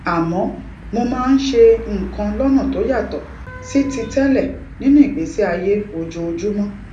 àmó mo máa ń ṣe nǹkan lónà tó yàtò sí ti télè nínú ìgbésí ayé ojoojúmó